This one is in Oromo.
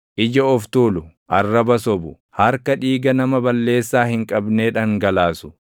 Ija of tuulu, arraba sobu, harka dhiiga nama balleessaa hin qabnee dhangalaasu,